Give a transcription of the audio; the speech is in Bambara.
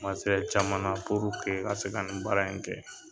caman na puruke i ka se ka nin baara in kɛ.